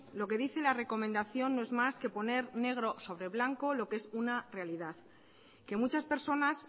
lo que dice la recomendación no es más que poner negro sobre blanco lo que es una realidad que muchas personas